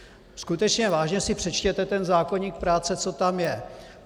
Skutečně vážně si přečtěte ten zákoník práce, co tam je.